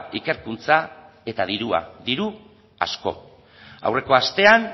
ikerkuntza eta dirua diru asko aurreko astean